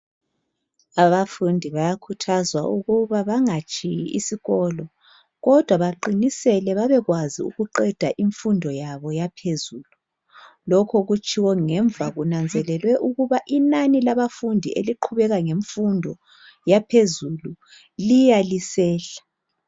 Abafundi bayakhuthazwa ukuba bangatshiyi isikolo kodwa baqinisele babekwazi ukuqenda imfundo yabo yaphezulu lokho kutshiwo ngemva kunanzelelwa ukuthi inani labafundi eliqubeka ngemfundo yaphezulu Liya lisehla